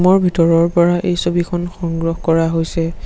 Room ৰ ভিতৰৰ পৰা এই ছবিখন সংগ্ৰহ কৰা হৈছে।